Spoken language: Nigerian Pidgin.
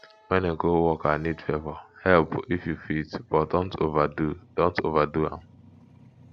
when a coworker need favor help if you fit but dont overdo dont overdo am